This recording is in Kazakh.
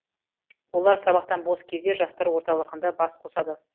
олар сабақтан бос кезде жастар орталығында бас қосады